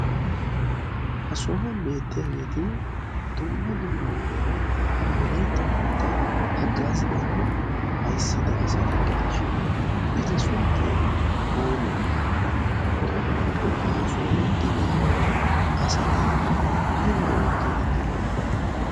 Ha sohuwan beettiyageeti dumma dumma huu'iyara Wolaytta moottaa haggaazidanne ayssida asata gidishin eta sunttay oonee? oonee? Ubbakka ha sohuwan de'iya asati aybaa oottiiddi de'iyonaa?